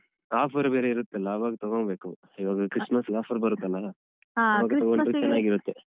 Offer ಬೇರೆ ಇರುತ್ತಲ್ಲ ಆವಾಗ ತಗೋಬೇಕು ಇವಾಗ Christmas offer ಬರುತ್ತಲ್ಲ